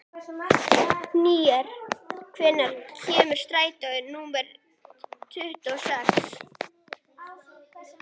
Henrý, hvenær kemur strætó númer tuttugu og sex?